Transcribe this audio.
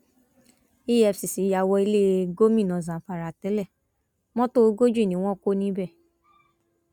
efcc yà wọ ilé gómìnà zamfara tẹlẹ mọtò ogójì ni wọn kọ níbẹ